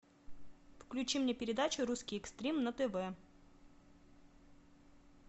включи мне передачу русский экстрим на тв